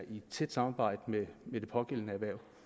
i tæt samarbejde med det pågældende